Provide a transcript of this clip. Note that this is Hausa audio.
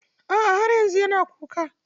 A'a, har yanzu yana kuka.